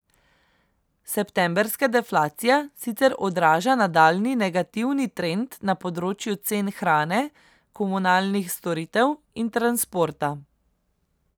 Septembrska deflacija sicer odraža nadaljnji negativni trend na področju cen hrane, komunalnih storitev in transporta.